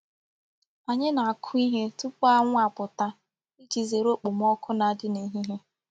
Anyi na-aku ihe tupu anwu aputa Iji zere okpomoku n'adi n'ehihe.